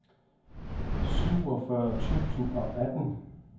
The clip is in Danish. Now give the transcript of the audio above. syvogfyrre tusind og atten